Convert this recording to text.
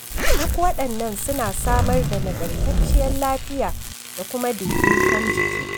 Duk waɗannan suna samar da nagartacciyar lafiya da kuma daidaiton jiki.